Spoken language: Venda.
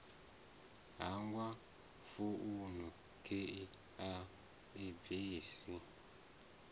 hangwa founu khei a bvisa